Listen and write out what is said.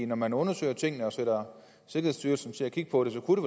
når man undersøger tingene og sætter sikkerhedsstyrelsen til at kigge på det kunne